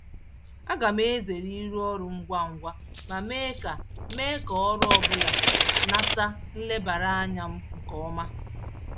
Aga m ezere ịrụ ọrụ ngwa ngwa ma mee ma mee ka ọrụ ọbụla nata nlebara anya m nke ọma.